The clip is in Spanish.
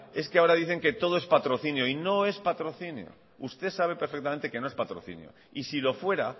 ahora dicen que todo es patrocinio y no es patrocinio usted sabe perfectamente que no es patrocinio y si lo fuera